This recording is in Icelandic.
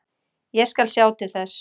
Ég skal sjá til þess.